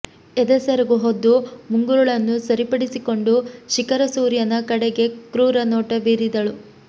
ಎದೆ ಸೆರಗು ಹೊದ್ದು ಮುಂಗುರುಳನ್ನು ಸರಿಪಡಿಸಿಕೊಂಡು ಶಿಖರಸೂರ್ಯನ ಕಡೆಗೆ ಕ್ರೂರ ನೋಟ ಬೀರಿದಳು